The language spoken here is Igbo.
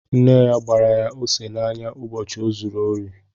Nne ya gbara ya ose n'anya ụbọchị o zuru ori